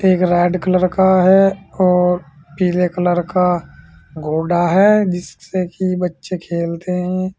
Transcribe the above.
एक red colour का है और पीले कलर का घोड़ा है जिससे कि बच्चे खेलते हैं।